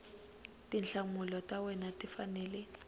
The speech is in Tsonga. tinhlamulo ta wena ti fanele